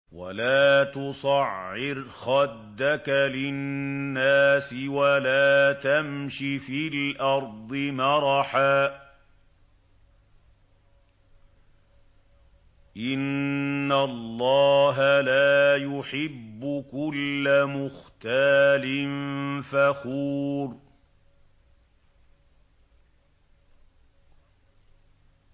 وَلَا تُصَعِّرْ خَدَّكَ لِلنَّاسِ وَلَا تَمْشِ فِي الْأَرْضِ مَرَحًا ۖ إِنَّ اللَّهَ لَا يُحِبُّ كُلَّ مُخْتَالٍ فَخُورٍ